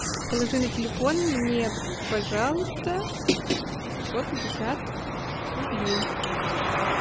положи на телефон мне пожалуйста сто пятьдесят рублей